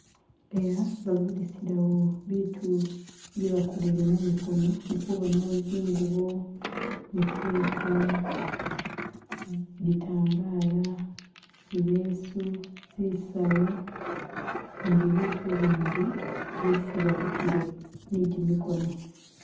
eha bagulisilawo bitu bye bakolele mumikono ndikubonawo zingubo, mikeka, bitambala, zileesu, zisawu ni bibitu bindi byesi balikile ni gyi mikono.